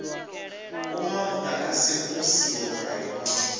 uma muḓagasi hu siho mulayoni